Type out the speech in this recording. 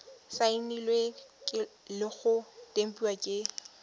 saenilwe le go tempiwa ke